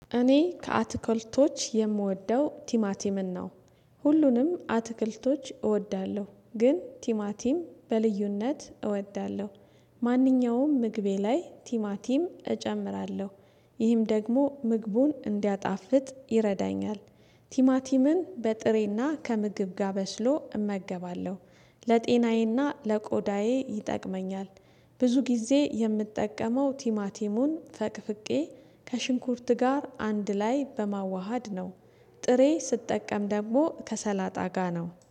እኔ ከአትክልቶች የምወደው ቲማቲምን ነው ሁሉንም አትክልቶች እወዳለሁ ግን ቲማቲም በልዩነት እወዳለሁ። ማንኛውም ምግቤ ላይ ቲማቲም ይህም ደግሞ ምግቡን እንዲያጣፍጥ ይረዳኛል። ቲማቲምን በጥሬና ከምግብ ጋ በስሎ እመገባለሁ። ለጤናዬና ለቆዳዬ ይጠቅመኛል። ብዙ ጊዜ የምጠቀመው ቲማቲሙን ፈቅፍቄ ከሽንኩርት ጋር አንድ ላይ በማዋሃድ ነው። ጥሬ ስጠቀም ደግሞ ከሰላጣ ጋር ነው